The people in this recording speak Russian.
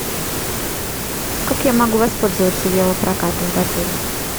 как я могу воспользоваться велопрокатом в отеле